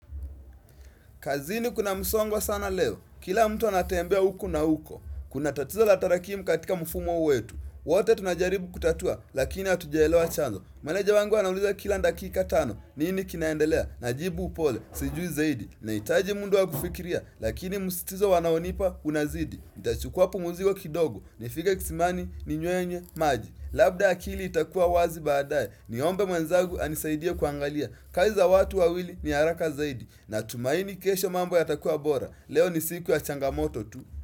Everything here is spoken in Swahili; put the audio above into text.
Kazini kuna musongo sana leo? Kila mtu anatembea huku na huko. Kuna tatizo la tarakimu katika mfumo wetu. Wote tunajaribu kutatua lakini hatujaelewa chanzo. Maneja wangu anauliza kila dakika tano. Nini kinaendelea. Najibu upole. Sijui zaidi. Na hitaji muda wa kufikiria lakini msitizo wanaonipa unazidi. Nita chukua pumziko kwa kidogo, nifike kisimani, ninywe maji labda akili itakua wazi baadae, niombe mwenzangu anisaidia kuangalia. Kazi watu wawili ni haraka zaidi, na tumaini kesho mambo yatakua bora. Leo ni siku ya changamoto tu.